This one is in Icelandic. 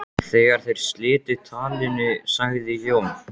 Þegar þeir slitu talinu sagði Jón